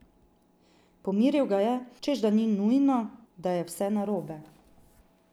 Pomiril ga je, češ da ni nujno, da je vse narobe.